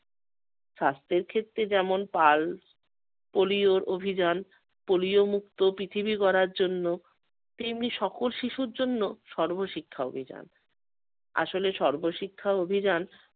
স্বাস্থ্যের ক্ষেত্রে যেমন পাল পোলিওর অভিযান পোলিও মুক্ত পৃথিবী গড়ার জন্য তেমনি সকল শিশুর জন্য সর্বশিক্ষা অভিযান। আসলে সর্বশিক্ষা অভিযান-